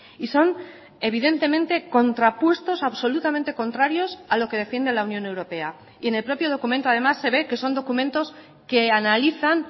y son evidentemente contrapuestos absolutamente contrarios a lo que defiende la unión europea y en el propio documento además se ve que son documentos que analizan